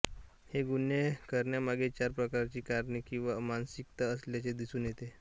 हे गुन्हे करण्यामागे चार प्रकारची कारणे किंवा मानसिकता असल्याचे दिसून येते